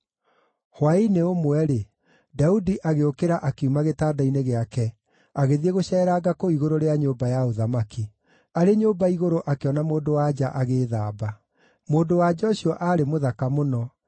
Hwaĩ-inĩ ũmwe-rĩ, Daudi agĩũkĩra akiuma gĩtanda-inĩ gĩake agĩthiĩ gũceeranga kũu igũrũ rĩa nyũmba ya ũthamaki. Arĩ nyũmba igũrũ akĩona mũndũ-wa-nja agĩĩthamba. Mũndũ-wa-nja ũcio aarĩ mũthaka mũno,